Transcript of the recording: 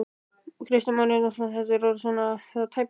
Kristján Már Unnarsson: Þetta er orðið svona í það tæpasta?